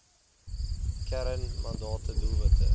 kern mandate doelwitte